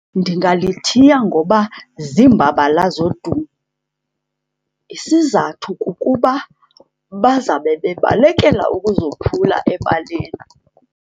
Ndingalithiya ngoba ziimbabala zodumo. Isizathu kukuba bazawube bebalekela ukuzophula ebaleni.